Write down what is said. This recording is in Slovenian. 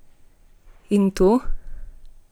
In to?